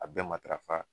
A bɛɛ matarafa